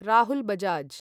Rahul Bajaj